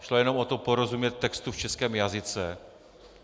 Šlo jenom o to porozumět textu v českém jazyce.